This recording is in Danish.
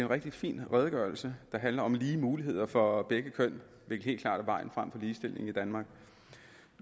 rigtig fin redegørelse der handler om lige muligheder for begge køn hvilket helt klart er vejen frem for ligestillingen i danmark